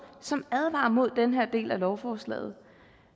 som advarer mod den her del af lovforslaget